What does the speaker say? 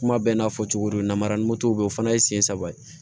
Kuma bɛɛ n'a fɔ cogo don namara ni moto bɛ o fana ye sen saba ye